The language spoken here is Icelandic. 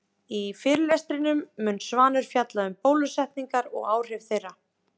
Í fyrirlestrinum mun Svanur fjalla um um bólusetningar og áhrif þeirra.